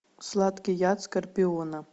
сладкий яд скорпиона